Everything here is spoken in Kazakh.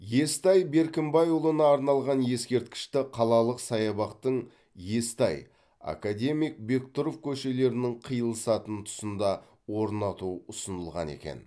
естай беркімбайұлына арналған ескерткішті қалалық саябақтың естай академик бектұров көшелерінің қиылысатын тұсында орнату ұсынылған екен